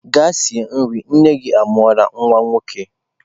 Gaa sie nri! nne-gi amuru nwa-nwoke.